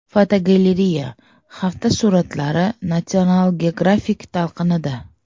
Fotogalereya: Hafta suratlari National Geographic talqinida.